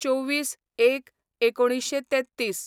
२४/०१/१९३३